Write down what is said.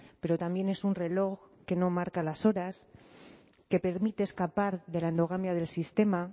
pero también es un reloj que no marca las horas que permite escapar de la endogamia del sistema